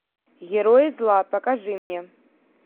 герои зла покажи мне